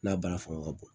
N'a baara fanga ka bon